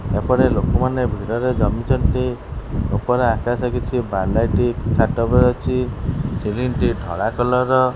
ଏପଟେ ଲୋକମାନେ ଭିଡ଼ରେ ଜମିଛନ୍ତି। ଉପରେ ଆକାଶ କିଛି ବା ଲାଇଟ୍ ଛାତ ଉପରେ ଅଛି। ସିଲିଂ ଟି ଧଳା କଲର୍ ର।